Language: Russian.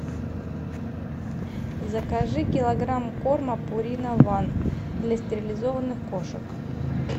закажи килограмм корма пурина ван для стерилизованных кошек